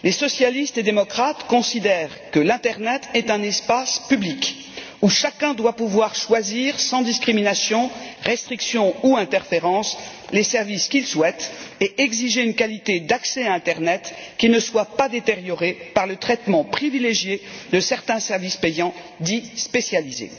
Les socialistes et démocrates considèrent que l'internet est un espace public où chacun doit pouvoir choisir sans discrimination, restriction ou interférence les services qu'il souhaite et exiger une qualité d'accès à l'internet qui ne soit pas détériorée par le traitement privilégié de certains services payants, dits spécialisés.